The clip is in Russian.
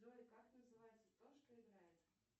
джой как называется то что играет